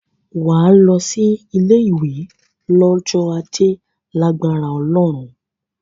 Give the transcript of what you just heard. Wà á lọ sí ilé-ìwé lọ́jọ́ Ajé lágbára Ọlọ́run.